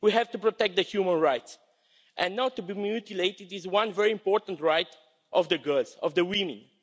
We have to protect their human rights and not to be mutilated is one very important right of girls, of women.